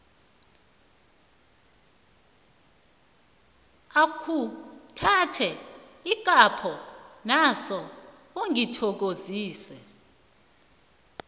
akhuthathe ikapho naso ungithokozise